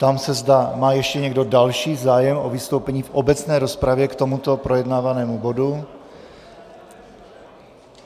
Ptám se, zda má ještě někdo další zájem o vystoupení v obecné rozpravě k tomuto projednávanému bodu.